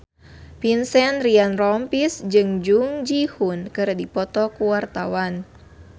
Vincent Ryan Rompies jeung Jung Ji Hoon keur dipoto ku wartawan